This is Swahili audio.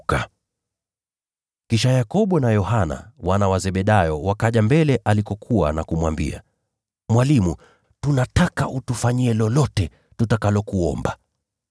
Kisha Yakobo na Yohana, wana wa Zebedayo, wakaja kwake na kumwambia, “Mwalimu, tunataka utufanyie lolote tutakalokuomba.”